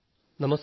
നമസ്കാർ